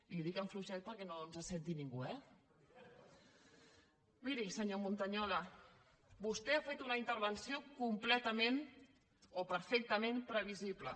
li ho dic fluixet perquè no ens senti ningú eh miri senyor montañola vostè ha fet una intervenció completament o perfectament previsible